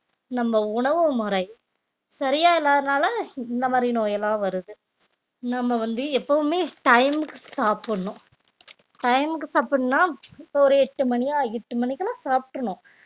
நம்ம உணவு முறை சரியா இல்லாதனால இந்த மாதிரி நோய் எல்லாம் வருது நம்ம வந்து எப்பவுமே time க்கு சாப்பிடணும் time க்கு சாப்பிடணும்ன்னா இப்ப ஒரு எட்டு மணி ஆ எட்டு மணிக்கெல்லாம் சாப்பிட்றனும்